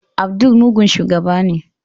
Abdul mugun shugaba ne.